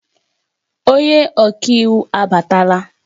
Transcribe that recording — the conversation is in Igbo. Onye ọka iwu abatala